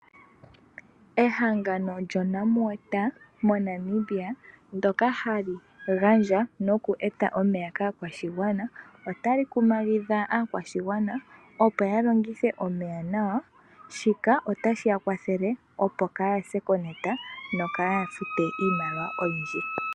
Ehangano lyo Namwater mo Namibia, ndyoka hali gandja noku eta omeya kaakwashigwana otali kumagidha aakwashigwana opo ya longithe omeya nawa, shika otashi ya kwathele opo kaya se kenota no kaya fute iimaliwa oyindji.